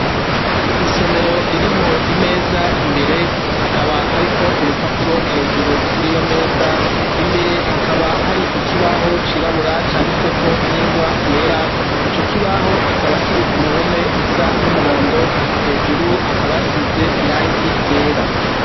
Isomero ririmw' imez' imbere hakaba harik' urupapuro hejuru, kuriyo mez' imbere hakaba harik' ikibaho cirabura canditsweko n' ingwa yera , ico kibaho kikaba kiri kuruhome rusa n' umuhondo, hejuru hakaba hasiz' irangi ryera.